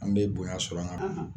An bɛ bonya sɔrɔ an